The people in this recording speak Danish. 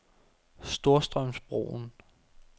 Storstrømsbroen